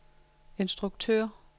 instruktør